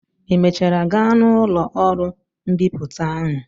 Ị mechara gaa na ụlọ ọrụ mbipụta ahụ?